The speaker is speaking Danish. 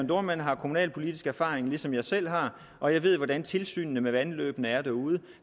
dohrmann har kommunalpolitisk erfaring ligesom jeg selv har og jeg ved hvordan tilsynet med vandløbene er derude